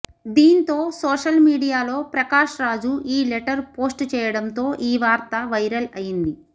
దీంతో సోషల్ మీడియాలో ప్రకాష్ రాజు ఈ లెటర్ పోస్ట్ చేయడంతో ఈ వార్త వైరల్ అయింది